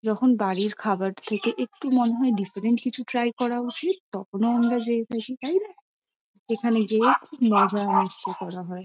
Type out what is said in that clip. যখন বাড়ির খাবার থেকে একটু মনে হয় ডিফারেন্ট কিছু ট্রাই করা উচিত তখনও আমরা তাইনা। এখানে গিয়েও মজা মস্তি করা হয়।